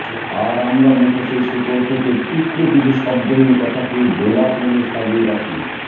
আর আমরা মুখোশের শেকড় থেকে টুকরো কিছু শব্দহীন কথাকে গোলাপ নামে সাজিয়ে রাখি